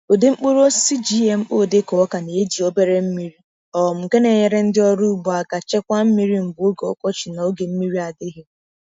Ụdị mkpụrụ osisi GMO dịka ọka na-eji obere mmiri, um nke na-enyere ndị ọrụ ugbo aka chekwaa mmiri mgbe oge ọkọchị na oke mmiri adịghị.